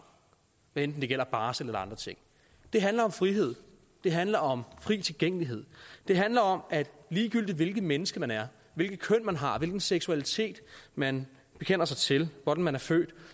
hvad enten det gælder barsel eller andre ting det handler om frihed det handler om fri tilgængelighed det handler om at ligegyldigt hvilket menneske man er hvilket køn man har hvilken seksualitet man bekender sig til og hvordan man er født